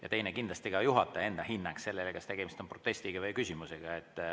Ja teine on kindlasti juhataja enda hinnang, kas tegemist on protesti või küsimusega.